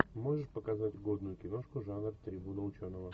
можешь показать годную киношку жанр трибуна ученого